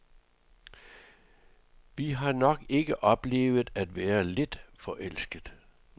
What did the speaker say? Jeg har nok ikke oplevet at være vildt forelsket.